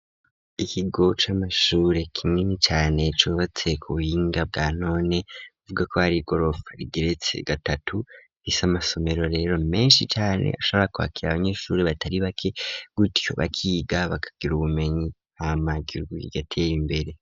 Ikigo c'amashure kinini cane cubatse ku buhinga bwa none uvuga ko ari gorofa rigeretse gatatu rifise amasomero rero meshi cane ashabora kwakira abanyeshuri batari bake gutyo bakiga bakagira ubumenyi hama igihugu kigatera imbere.